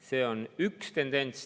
See on üks tendents.